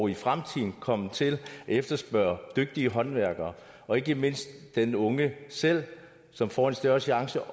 i fremtiden kommer til at efterspørge dygtige håndværkere og ikke mindst den unge selv som får en større chance